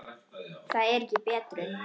Það er ekki betrun.